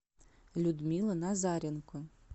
людмила назаренко